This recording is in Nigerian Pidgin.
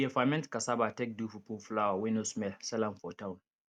we dey ferment cassava take do fufu flour wey no smell sell am for town